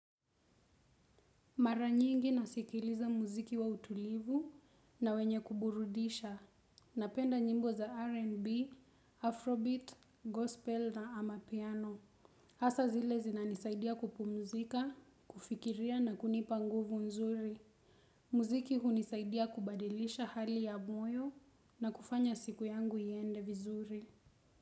Mara nyingi nasikiliza muziki wa utulivu na wenye kuburudisha. Napenda nyimbo za RnB, Afrobeat, Gospel na amapiano. Asa zile zinanisaidia kupumzika, kufikiria na kunipa nguvu nzuri. Muziki hunisaidia kubadilisha hali ya mwoyo na kufanya siku yangu iyende vizuri.